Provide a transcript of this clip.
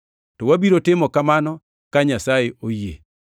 To wabiro timo kamano, ka Nyasaye oyie.